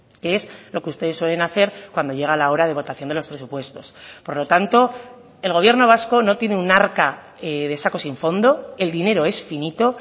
que es lo que ustedes suelen hacer cuando llega la hora de votación de los presupuestos por lo tanto el gobierno vasco no tiene un arca de sacos sin fondo el dinero es finito